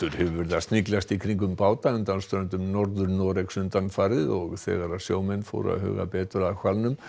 hefur verið að sniglast í kringum báta undan ströndum Norður Noregs undanfarið og þegar sjómenn fóru að huga betur að hvalnum